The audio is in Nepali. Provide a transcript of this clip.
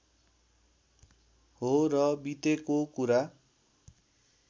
हो र बितेको कुरा